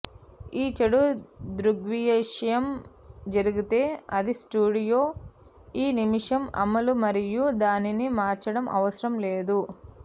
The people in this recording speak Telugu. ఈ చెడు దృగ్విషయం జరిగితే అది స్టూడియో ఈ నిమిషం అమలు మరియు దానిని మార్చడం అవసరం లేదు